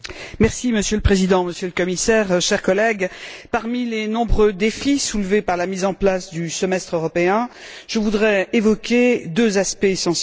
Monsieur le Président, Monsieur le Commissaire, chers collègues, parmi les nombreux défis soulevés par la mise en place du semestre européen, je voudrais évoquer deux aspects essentiels.